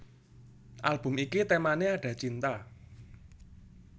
Album iki temané Ada Cinta